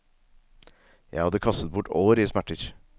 Jeg hadde kastet bort år i smerter.